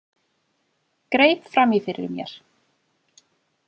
Greip fram í fyrir mér.